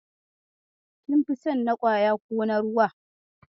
Kin fi son na kwaya ko na ruwa?